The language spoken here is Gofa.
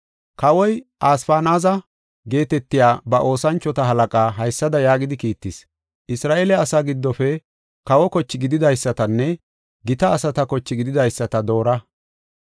Kawoy, Asfanaaza geetetiya ba oosanchota halaqaa haysada yaagidi kiittis: “Isra7eele asaa giddofe kawo koche gididaysatanne gita asata koche gididaysata doora.